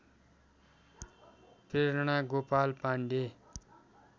Prerana Gopal Pandey